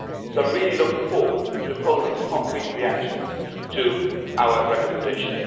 I'm really looking forward to Poland's concrete reactions to our recommendation.